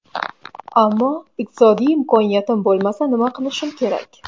Ammo iqtisodiy imkoniyatim bo‘lmasa, nima qilishim kerak?